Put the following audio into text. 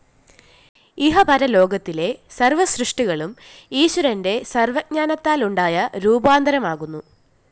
ഇഹപരലോകത്തിലെ സര്‍വ്വസൃഷ്ടികളും ഈശ്വരന്റെ സര്‍വ്വജ്ഞാനത്താലുണ്ടായ രൂപാന്തരമാകുന്നു